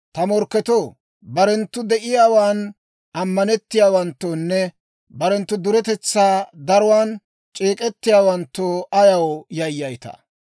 Ta morkketoo, Barenttu de'iyaawan ammanettiyaawanttoonne barenttu duretetsaa daruwaan c'eek'k'iyaawanttoo ayaw yayyaytaa?